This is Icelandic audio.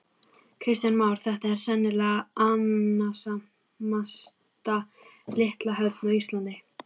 Kristján Már: Þetta er sennilega annasamasta litla höfn á Íslandi?